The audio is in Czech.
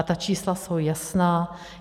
A ta čísla jsou jasná.